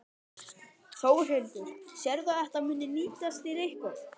Þórhildur: Sérðu að þetta muni nýtast þér eitthvað?